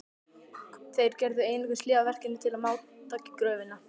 Þeir gerðu einungis hlé á verkinu til að máta gröfina.